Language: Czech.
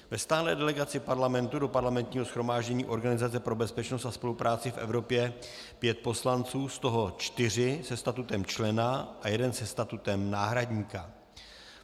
Ve stálé delegaci Parlamentu do Parlamentního shromáždění Organizace pro bezpečnost a spolupráci v Evropě pět poslanců, z toho čtyři se statutem člena a jeden se statutem náhradníka.